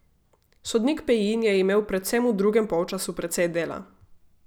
Sodnik Pejin je imel predvsem v drugem polčasu precej dela.